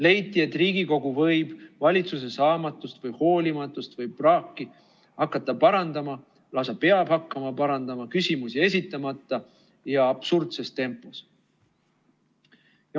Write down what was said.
Leiti, et Riigikogu võib valitsuse saamatust või hoolimatust või praaki hakata parandama, lausa peab hakkama parandama, küsimusi esitamata ja absurdses tempos.